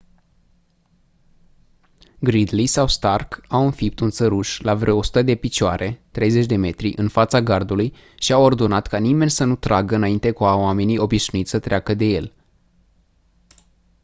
gridley sau stark au înfipt un țăruș la vreo 100 de picioare 30 m în fața gardului și au ordonat ca nimeni să nu tragă înainte ca oamenii obișnuiți să treacă de el